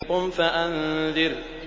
قُمْ فَأَنذِرْ